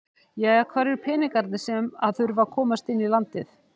Jæja hvar eru peningarnir sem að þurfa að komast inn í landið?